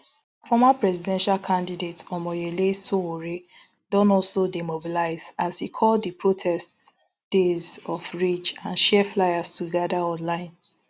former presidential candidate omoyele sowore don also dey mobilize as e call di protests days of rage and share fliers to gada online